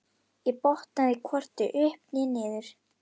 Ég botnaði hvorki upp né niður.